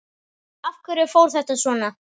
Af hverju fór þetta svona?